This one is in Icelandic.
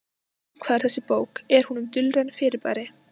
Um hvað er þessi bók, er hún um dulræn fyrirbæri?